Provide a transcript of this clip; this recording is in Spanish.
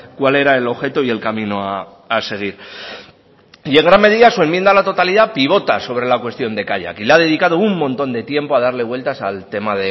cuál era el objeto y el camino a seguir y en gran medida su enmienda a la totalidad pivota sobre la cuestión de kaiak y la ha dedicado un montón de tiempo a darle vueltas al tema